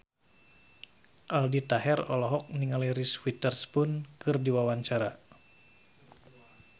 Aldi Taher olohok ningali Reese Witherspoon keur diwawancara